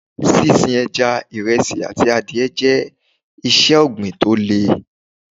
Sín sin Ẹja, ìresí àti adìẹ jẹ́ iṣẹ́ ọ̀gbìn tó le.